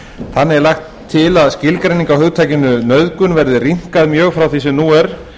þannig er lagt til að skilgreining á hugtakinu nauðgun verði rýmkuð mjög frá því sem nú er